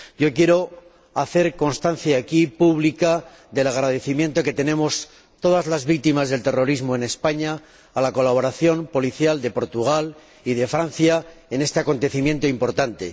Quiero dejar constancia pública aquí del agradecimiento que tenemos todas las víctimas del terrorismo en España por la colaboración policial de Portugal y de Francia en este acontecimiento importante.